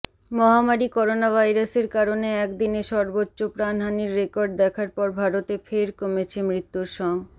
মহামারি করোনাভাইরাসের কারণে একদিনে সর্বোচ্চ প্রাণহানির রেকর্ড দেখার পর ভারতে ফের কমেছে মৃত্যুর সং